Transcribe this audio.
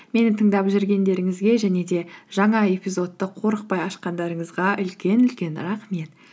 мені тыңдап жүргендеріңізге және де жаңа эпизодты қорықпай ашқандарыңызға үлкен үлкен рахмет